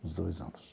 Uns dois anos.